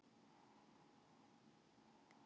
Sylvía, spilaðu lag.